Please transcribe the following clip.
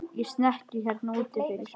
Í snekkju hérna úti fyrir!